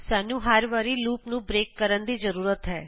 ਸਾਨੂੰ ਹਰ ਵਾਰੀ ਲੂਪ ਨੂੰ ਬ੍ਰੇਕ ਕਰਨ ਦੀ ਜ਼ਰੂਰਤ ਹੈ